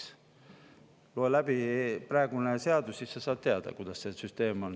Sa loe läbi praegune seadus, eks, ja siis sa saad teada, milline see süsteem on.